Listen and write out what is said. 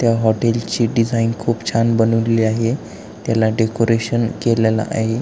त्या हॉटेल ची डिझाईन खूप छान बनवलेली आहे त्याला डेकोरशन केल्याल आहे.